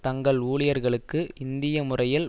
தங்கள் ஊழியர்களுக்கு இந்திய முறையில்